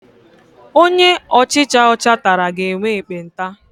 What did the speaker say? Onye ọchicha ọcha tara ga-enwe ekpenta.